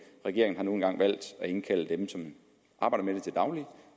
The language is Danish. regeringen har nu engang valgt at indkalde dem som arbejder med det til daglig